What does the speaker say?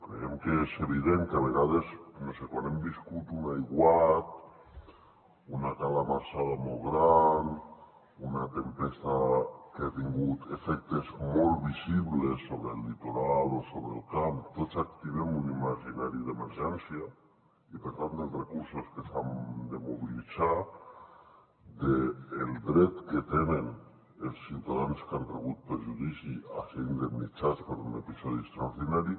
creiem que és evident que a vegades no ho sé quan hem viscut un aiguat una calamarsada molt gran una tempesta que ha tingut efectes molt visibles sobre el litoral o sobre el camp tots activem un imaginari d’emergència i per tant dels recursos que s’han de mobilitzar del dret que tenen els ciutadans que han rebut perjudici a ser indemnitzats per un episodi extraordinari